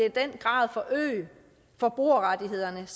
i den grad forøge forbrugerrettighederne